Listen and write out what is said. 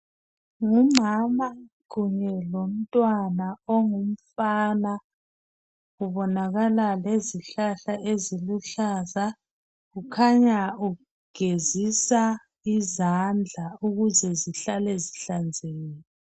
Ngumama kunye lomntwana ongumfana kubonakala lezihlahla eziluhlaza kukhanya ugezisa izandla ukuze zihlale zihlanzekile.